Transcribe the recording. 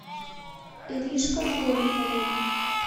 иришка новикова